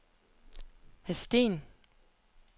Hadsten